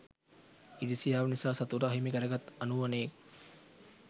ඉරිසියාව නිස‍ා සතුට අහිමි කරගත් අනුවනයෙක්